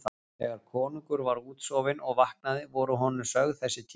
Þegar konungur var útsofinn og vaknaði voru honum sögð þessi tíðindi.